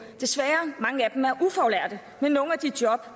desværre er ufaglærte med nogle af de job